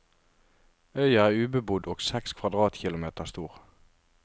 Øya er ubebodd og seks kvadratkilometer stor.